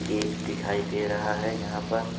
Cake दिखाई दे रहे हैं यहां पर।